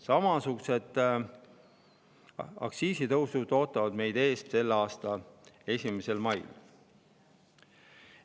Samasugused aktsiisitõusud ootavad meid ees selle aasta 1. mail.